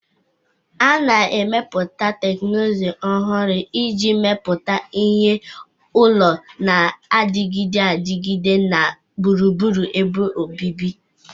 A na-emepụta teknụzụ ọhụrụ iji mepụta ihe ụlọ na-adịgide adịgide na gburugburu ebe obibi